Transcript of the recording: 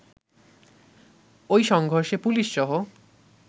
ঐ সংঘর্ষে পুলিশসহ